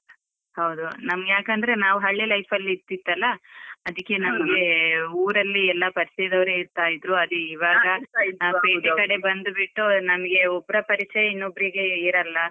ಹೌದು, ನಮ್ ಯಾಕಂದ್ರೆ ನಾವು ಹಳ್ಳಿ life ಅಲ್ಲಿ ಇತ್ತಿತಲಾ ಅದ್ಕೆ ನಮ್ಗೆ ಊರಲ್ಲಿ ಎಲ್ಲ ಪರಿಯಚ ಇದ್ದವ್ರೆ ಇರ್ತ ಇದ್ರು ಇವಾಗ ಪೇಟೆ ಕಡೆ ಬಂದ್ ಬಿಟ್ಟು ನಮ್ಗೆ ಒಬ್ರ ಪರಿಚಯ ಇನ್ನೊಬ್ರಿಗೆ ಇರಲ್ಲ.